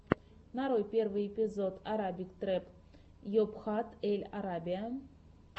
нарой первый эпизод арабик трэп йобхат эль арабия